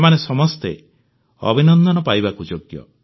ସେମାନେ ସମସ୍ତେ ଅଭିନନ୍ଦନ ପାଇବାକୁ ଯୋଗ୍ୟ